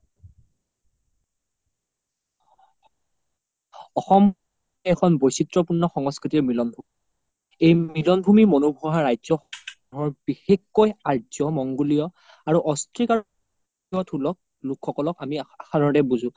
অসম দেশ অখন বইশিত্ৰ পুৰ্ন সংস্কৃতি মিলন ভুমি এই মিলন ভুমি মনুহুৱা ৰাজ্য সমুহৰ বিশেষকৈ আৰ্জ্য মংগোলিয়া আৰু লোক সকলক আমি সাধাৰণতে বুজো